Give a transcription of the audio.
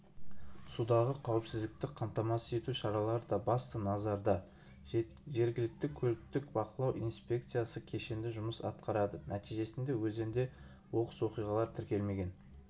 судағы қауіпсіздікті қамтамасыз ету шаралары да басты назарда жергілікті көліктік бақылау инспекциясы кешенді жұмыс атқарады нәтижесінде өзенде оқыс оқиғалар тіркелмеген